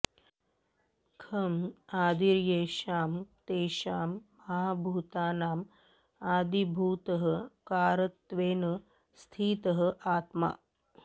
खं आदिर्येषां तेषां महाभूतानां आदिभूतः कारणत्वेन स्थितः आत्मा